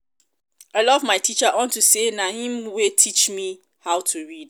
i love my teacher unto say na im wey teach me how to read